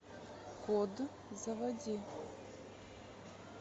код заводи